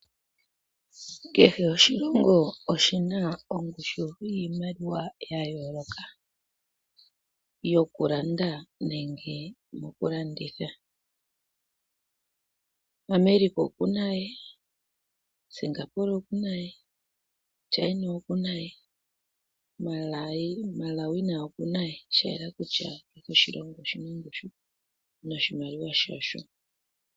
Kehe oshilongo oshina iimaliwa ongushu yiimaliwa ya yooloka, yoku landa nenge moku landitha, America oku na ye, Singapore oku na ye, China oku na ye, Malawi naye oku na ye, shayela kutya kehe oshilongo oshina ongushu noshimaliwa shasho.